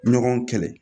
Ɲɔgɔn kɛlɛ